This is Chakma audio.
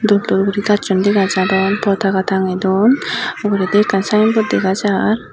dol dol guri gassun dega jadon potaga tange don uguredi ekkan saen bot dega jar.